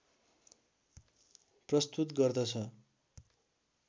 प्रस्तुत गर्दछ